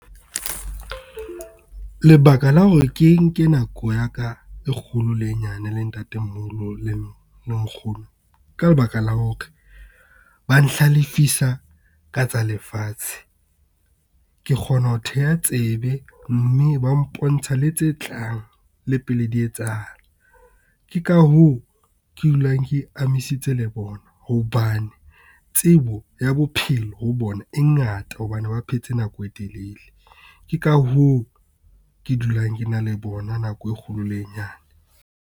Lebaka la hore ke nke nako ya ka e kgolo le nyane le Ntate-moholo le Nkgono ka lebaka la hore ba nhlalefisa ka tsa lefatshe. Ke kgona ho theha tsebe, mme ba mpontsha le tse tlang le pele di etsahala. Ke ka hoo ke dulang ke amisitse le bona, hobane tsebo ya bophelo ho bona e ngata hobane ba phetse nako e telele. Ke ka hoo ke dulang ke na le bona nako e kgolo le e nyane.